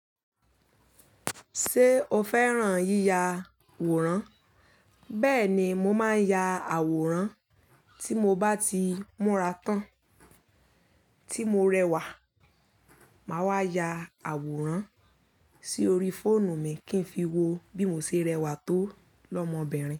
Ṣé o fẹ́ràn yíya àwòrán? Bẹ́ẹ̀ni, mo máa ń ya àwòrán. Tí mo bá ti múra tán, tí mo rẹwà, màá wá ya àwòrán sí orí fóònù mi kí n fi wo bí mo ṣe rẹwà tó lọ́mọbìnrin.